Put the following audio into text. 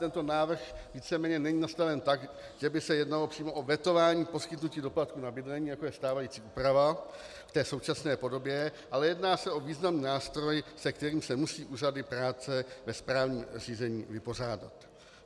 Tento návrh víceméně není nastaven tak, že by se jednalo přímo o vetování poskytnutí doplatku na bydlení, jako je stávající úprava v té současné podobě, ale jedná se o významný nástroj, se kterým se musí úřady práce ve správním řízení vypořádat.